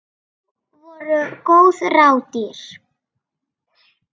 Nú voru góð ráð dýr!